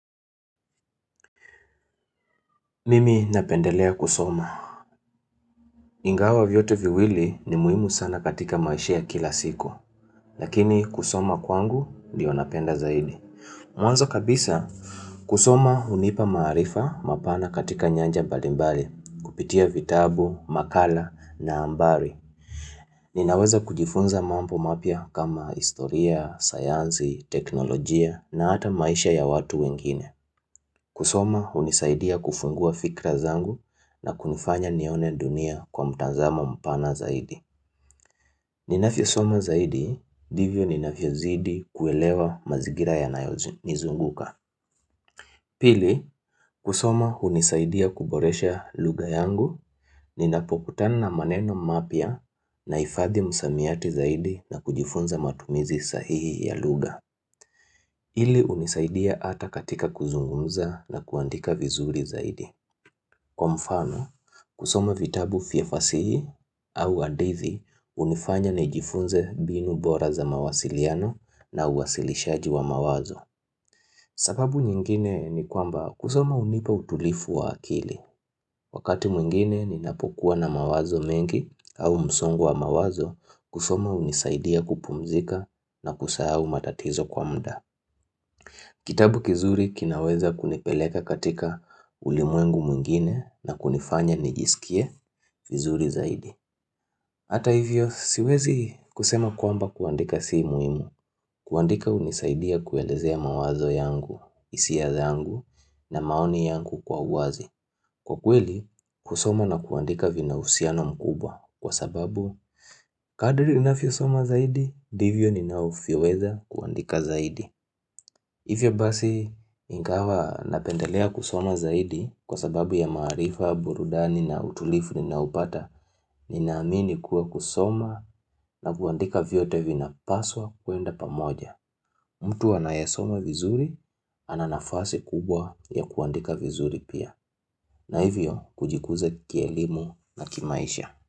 Mimi napendelea kusoma. Ingawa vyote viwili ni muhimu sana katika maisha ya kila siku. Lakini kusoma kwangu ndiyo napenda zaidi. Mwanzo kabisa, kusoma hunipa maarifa mapana katika nyanja mbalimbali, kupitia vitabu, makala na abari. Ninaweza kujifunza mambo mapya kama historia, sayansi, teknolojia na hata maisha ya watu wengine. Kusoma hunisaidia kufungua fikra zangu na kunifanya nione dunia kwa mtazamo mpana zaidi. Ninavyosoma zaidi ndivyo ninavyozidi kuelewa mazingira yanayonizunguka. Pili, kusoma hunisaidia kuboresha lugha yangu, ninapokutana na maneno mapya na hifadhi msamiati zaidi na kujifunza matumizi sahihi ya lugha. Hili hunisaidia hata katika kuzungumza na kuandika vizuri zaidi. Kwa mfano kusoma vitabu vya fasihi au hadithi hunifanya nijifunze mbinu bora za mawasiliano na uwasilishaji wa mawazo sababu nyingine ni kwamba kusoma hunipa utulifu wa akili Wakati mwingine ninapokuwa na mawazo mengi au msongu wa mawazo kusoma hunisaidia kupumzika na kusahau matatizo kwa mda Kitabu kizuri kinaweza kunipeleka katika ulimwengu mwingine na kunifanya nijisikie vizuri zaidi. Hata hivyo siwezi kusema kwamba kuandika si muhimu. Kuandika hunisaidia kuelezea mawazo yangu, hisia yangu na maoni yangu kwa uwazi. Kwa kweli, kusoma na kuandika vina uhusiano mkubwa. Kwa sababu, kadri ninavyosoma zaidi, ndivyo ninavyoweza kuandika zaidi. Hivyo basi ingawa napendelea kusoma zaidi kwa sababu ya maarifa, burudani na utulivu ninaupata ni naamini kuwa kusoma na kuandika vyote vinapaswa kuenda pamoja. Mtu anayesoma vizuri ana nafasi kubwa ya kuandika vizuri pia. Na hivyo kujikuza kielimu na kimaisha.